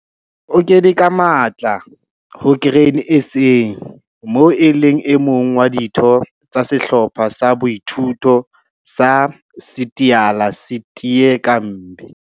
O kene ka matla ho Grain SA moo e leng e mong wa ditho tsa Sehlopha sa Boithuto sa Sityala Sitye Kambi.